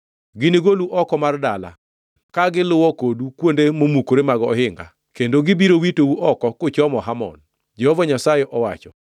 Ginigolu oko mar dala ka giluwo kodu kuonde momukore mag ohinga, kendo gibiro witou oko kuchomo Hamon,” Jehova Nyasaye owacho.